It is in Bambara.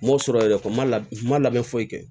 N m'o sɔrɔ yɛrɛ n ma labɛn foyi kɛ